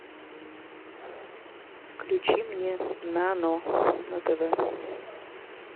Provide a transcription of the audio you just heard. включи мне нано на тв